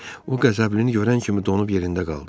O Qəzəblini görən kimi donub yerində qaldı.